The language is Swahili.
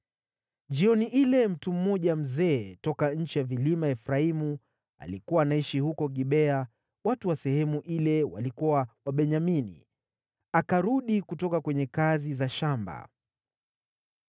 Jioni ile mtu mmoja mzee toka nchi ya vilima ya Efraimu, aliyekuwa anaishi huko Gibea (watu wa sehemu ile walikuwa Wabenyamini), akarudi kutoka kwenye kazi za shamba.